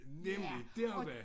Nemlig dér op ad